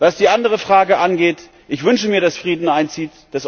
Was die andere Frage angeht Ich wünsche mir, dass Frieden einzieht.